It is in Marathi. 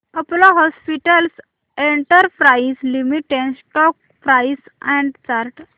Apollo hospitals enterprise limited stock price and chart